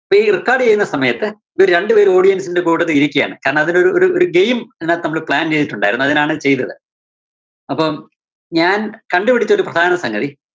ഈ record ചെയ്യുന്ന സമയത്ത്‌ ഇവര് രണ്ടുപേരും കൂടി ഇതിന്റെ കൂട്ടത്തിൽ ഇരിക്കുവാണ്‌. കാരണം അതിൽ ഒരു, ഒരു, ഒരു game ഇതിനത്ത് നമ്മള് plan ചെയ്‌തിട്ടുണ്ടായിരുന്നു. അതിനാണ് ചെയ്‌തത്‌. അപ്പോ ഞാൻ കണ്ടുപിടിച്ചൊരു പ്രധാന സംഗതി